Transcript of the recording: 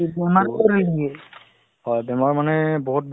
to বাহিৰফালে অলপমান খোজকাঢ়ি খোজকাঢ়ি অলপ গৈ আছো আৰু